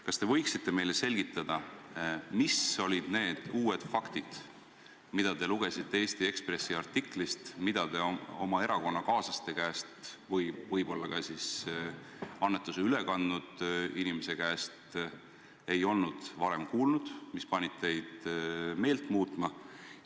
Kas te võiksite meile selgitada, mis olid need uued faktid, mida te lugesite Eesti Ekspressi artiklist ega olnud varem oma erakonnakaaslaste või võib-olla ka annetuse üle kandnud inimese käest kuulnud, mis panid teid meelt muutma?